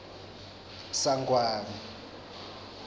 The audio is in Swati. sangwane